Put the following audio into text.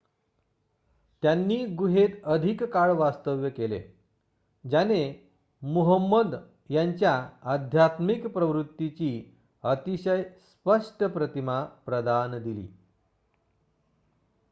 त्यांनी गुहेत अधिक काळ वास्तव्य केले ज्याने मुहम्मद यांच्या आध्यात्मिक प्रवृत्तीची अतिशय स्पष्ट प्रतिमा प्रदान दिली